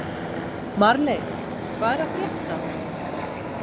Marley, hvað er að frétta?